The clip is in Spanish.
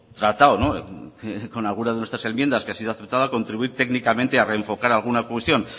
tratado con algunas de nuestras enmiendas que ha sido aceptada a contribuir técnicamente a reenfocar alguna cuestión